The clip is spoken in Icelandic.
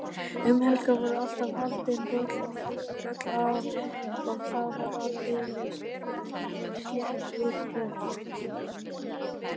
Um helgar voru alltaf haldin böll og þá var aldeilis slett úr klaufunum.